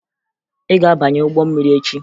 Ị ga-abanye ụgbọ mmiri echi!